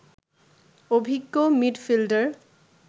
অভিজ্ঞ মিডফিল্ডার